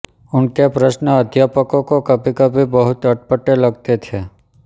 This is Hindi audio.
उनके प्रश्न अध्यापकों को कभीकभी बहुत अटपटे लगते थे